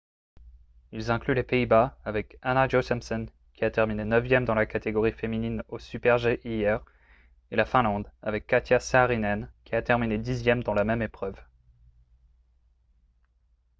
ils incluent les pays-bas avec anna jochemsen qui a terminé neuvième dans la catégorie féminine au super-g hier et la finlande avec katja saarinen qui a terminé dixième dans la même épreuve